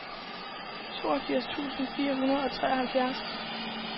toogfirs tusind fire hundrede og treoghalvfjerds